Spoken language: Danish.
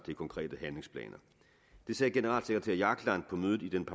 til konkrete handlingsplaner det sagde generalsekretær jagland på mødet i den